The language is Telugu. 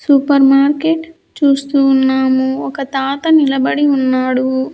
సూపర్ మార్కెట్ చూస్తూ ఉన్నాము ఒక తాత నిలబడి ఉన్నాడు.